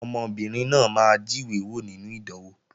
Ọmọbìnrin náà máa jíwé wò nínú ìdánwò